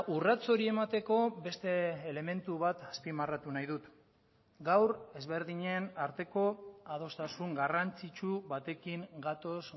urrats hori emateko beste elementu bat azpimarratu nahi dut gaur ezberdinen arteko adostasun garrantzitsu batekin gatoz